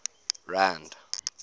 rand